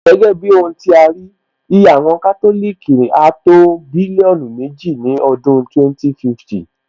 Gẹ́gẹ́ bí ohun tí a rí, iye àwọn Kátòlìkì áá tó bílíọ́nù méjì ní ọdún 2050